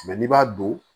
n'i b'a don